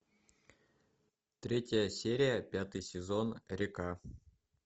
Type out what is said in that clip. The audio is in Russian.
третья серия пятый сезон река